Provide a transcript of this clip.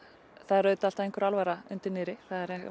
það er auðvitað alltaf einhver alvara undir niðri